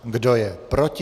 Kdo je proti?